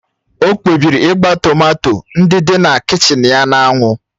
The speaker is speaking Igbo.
O kpebiri ịgba tomato ndị dị na kichin ya na anwụ